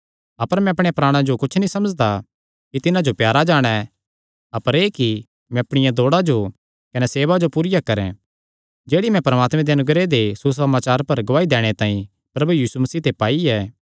अपर मैं अपणेयां प्राणा जो कुच्छ नीं समझदा कि तिन्हां जो प्यारा जाणे अपर एह़ कि मैं अपणिया दौड़ा जो कने सेवा जो पूरिया करैं जेह्ड़ी मैं परमात्मे दे अनुग्रह दे सुसमाचार पर गवाही दैणे तांई प्रभु यीशु मसीह ते पाई ऐ